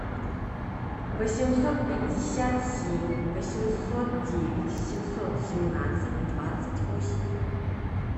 восемьсот пятьдесят семь восемьсот девять семьсот семнадцать двадцать восемь